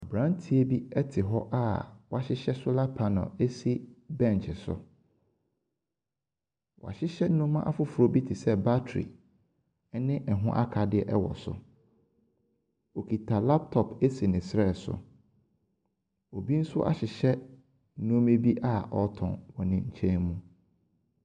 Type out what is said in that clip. Aberanteɛ bi te hɔ a wahyehyɛ solar panel asi bench so. Wahyehyɛ nneɛma afoforɔ bi te sɛ battery ne ɛho akadeɛ wɔ so. Ɔkita laptop si ne srɛ so. Obi nso ahyehyɛ nneɛma bi a ɔretɔn wɔ ne nkyɛn mu.